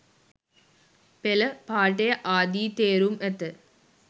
පෙළ, පාඨය ආදි තේරුම් ඇත.